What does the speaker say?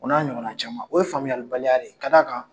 O n'a ɲɔgɔn na caman , o ye faamuyalibaliya de ye ka d'a kan